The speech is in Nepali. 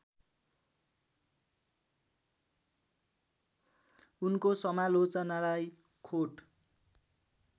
उनको समालोचनालाई खोट